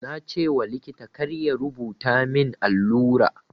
Na ce wa likita kar ya rubuta min allura.